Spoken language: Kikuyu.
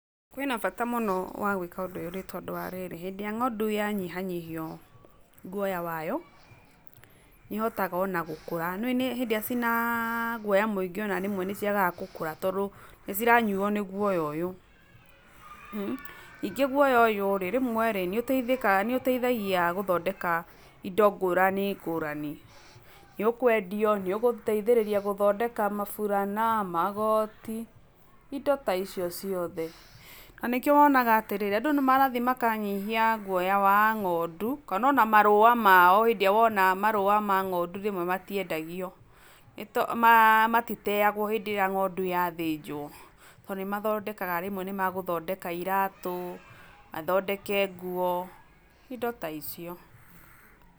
Kwĩna bata mũno wa gwĩka ũndũ ũyũ nĩ tondũ wa rĩrĩ, hĩndĩ ĩrĩa ng'ondu wanyihanyihio guoya wayo, nĩ ĩhotaga ona gũkũra, nĩũĩ hĩndĩ ĩrĩa ciĩna guoya mũingĩ ona rĩmwe nĩ ciagaga gũkũra tondũ nĩ ciranyuo nĩ guoya ũyũ, ningĩ guoya ũyũ rĩ, rĩmwe rĩ nĩũteithĩkaga nĩũteithagia gũthondeka indo ngũrani ngũrani, nĩ ũkwendio, nĩũgũteithĩrĩria gũthondeka maburana, magoti, indo ta icio ciothe, na nĩkĩo wonaga atĩrĩrĩ, andũ nĩ marathiĩ makanyihia guoya wa ng'ondu, kana ona marũũa mao hĩndĩ ĩrĩa wona marũũa ma ng'ondu rĩmwe matiendagio nĩ ma matiteagwo hĩndĩ ĩrĩa ng'ondu yathĩnjwo, tondũ nĩ mathondekaga rĩmwe nĩ magũthondeka iratũ, mathondeke nguo, indo ta icio.